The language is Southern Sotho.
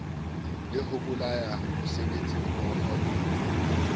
la ho bolaya mosebetsimmoho le